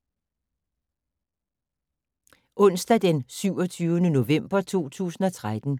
Onsdag d. 27. november 2013